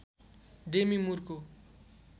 Demi मुरको